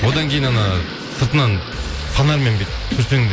одан кейін сыртынан фонармен бүйтіп түсірсең де